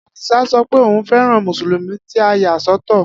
Adisa sọ pé òun fẹ́ràn Mùsùlùmí tí a yà sọ́tọ̀